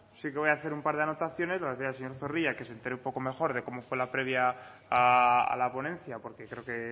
sí que voy a hacer un par de anotaciones le voy a decir al señor zorrilla que se entere un poco mejor de cómo fue la previa a la ponencia porque creo que